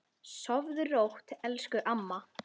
Sofðu rótt elsku amma.